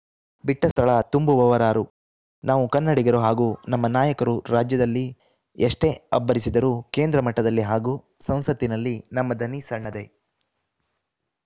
ಬಿಟ್ಟಸ್ಥಳ ತುಂಬುವವರಾರು ನಾವು ಕನ್ನಡಿಗರು ಹಾಗೂ ನಮ್ಮ ನಾಯಕರು ರಾಜ್ಯದಲ್ಲಿ ಎಷ್ಟೇ ಅಬ್ಬರಿಸಿದರೂ ಕೇಂದ್ರ ಮಟ್ಟದಲ್ಲಿ ಹಾಗೂ ಸಂಸತ್ತಿನಲ್ಲಿ ನಮ್ಮ ದನಿ ಸಣ್ಣದೇ